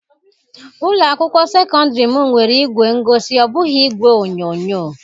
Ụlọ akwụkwọ sekọndrị m nwere ìgwè ngosi, ọ bụghị igwe onyonyo.